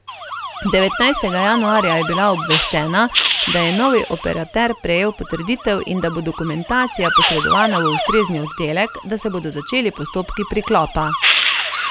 Devetnajstega januarja je bila obveščena, da je novi operater prejel potrditev in da bo dokumentacija posredovana v ustrezni oddelek, da se bodo začeli postopki priklopa.